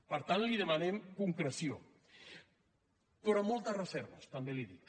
per tant li demanem concreció però amb moltes reserves també li ho dic